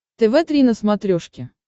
тв три на смотрешке